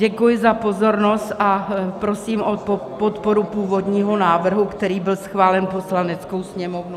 Děkuji za pozornost a prosím o podporu původního návrhu, který byl schválen Poslaneckou sněmovnou.